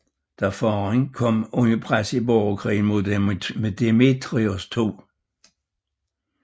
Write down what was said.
Da faderen kom under pres i borgerkrigen mod Demetrios 2